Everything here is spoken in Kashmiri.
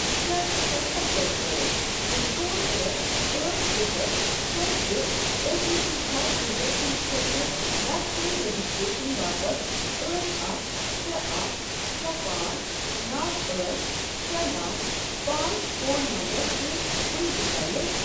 کیٛاہ ژٕ ہیٚککھا چیک کٔرِتھ زِ ژور ترے ٲٹھ صفر شےٚ زٕ او ٹی پی چھا یوزر سٕنٛدۍ خٲطرٕ ویکسین رجسٹریشن باپتھ ٲٹھ اکھ شےٚ اکھ شےٚ پانٛژھ نوو ٲٹھ شےٚ نوو پانٛژھ فون نمبرَس سۭتۍ ؤنہِ تہِ ویلِڑ؟